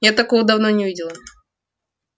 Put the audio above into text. я такого давно не видела